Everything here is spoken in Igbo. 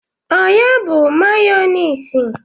Ọ ya bụ mayọniisi?